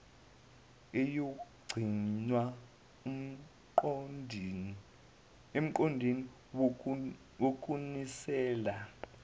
eyogcinwa emgodini wokunisela